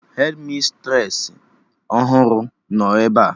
Hedmistresị ọhụrụ nọ ebea